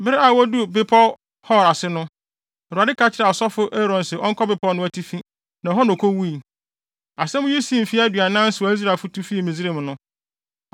Bere a woduu Bepɔw Hor ase no, Awurade ka kyerɛɛ ɔsɔfo Aaron se ɔnkɔ bepɔw no atifi, na ɛhɔ na okowui. Asɛm yi sii mfe aduanan so a Israelfo tu fii Misraim no.